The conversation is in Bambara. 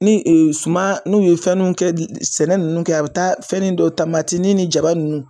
Ni suma n'u ye fɛnw ninnu kɛ sɛnɛ ninnu kɛ a bi taa fɛnnin dɔ ni jaba ninnu.